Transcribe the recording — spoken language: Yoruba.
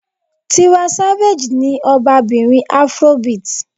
Tiwa Savage ni ọba bìnrin Afrobeat.